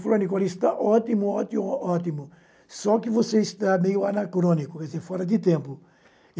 Falou, Nicola, está ótimo, ótimo, ótimo, só que você está meio anacrônico, isso é fora de tempo.